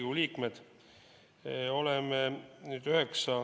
Head Riigikogu liikmed!